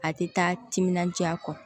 A tɛ taa timinandiya kɔ